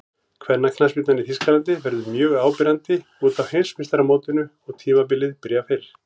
Kvennaknattspyrnan í Þýskalandi verður mjög áberandi útaf Heimsmeistaramótinu og tímabilið byrjar fyrr.